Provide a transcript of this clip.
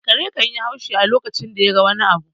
Kare kan yi haushi a lokacin da ya ga wani abu